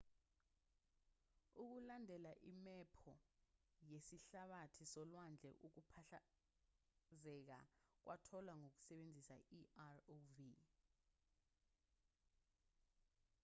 ukulandela imephu yesihlabathi solwandle ukuphahlazeka kwatholwa ngokusebenzisa i-rov